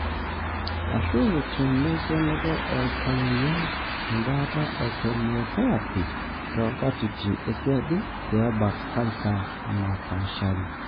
ashu tena kenoto oltamoyiai embaata e chemotherapy tonkatitin esiadi pe ebak canser napashaari.